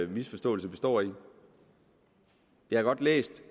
misforståelse består i jeg har godt læst